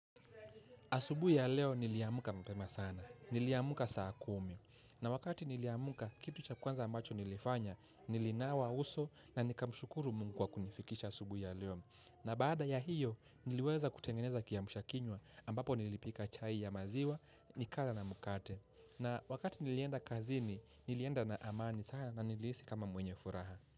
Asubui ya leo niliamuka mapema sana. Niliamuka saa kumi. Na wakati niliamuka kitu cha kwanza ambacho nilifanya, nilinawa uso na nikamushukuru mungu wa kunifikisha asubui ya leo. Na baada ya hiyo, niliweza kutengeneza kiamsha kinywa ambapo nilipika chai ya maziwa, nikala na mkate. Na wakati nilienda kazini, nilienda na amani sana na nilihisi kama mwenye furaha.